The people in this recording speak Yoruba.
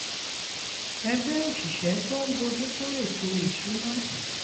ẹgbẹ́ òṣìṣẹ́ tó ń bójú tó ètò ìṣúnná